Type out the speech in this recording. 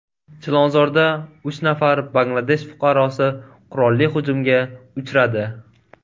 Chilonzorda uch nafar Bangladesh fuqarosi qurolli hujumga uchradi.